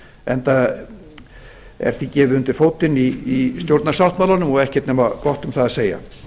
enda er því gefið undir fótinn í stjórnarsáttmálanum og ekkert nema gott um það að segja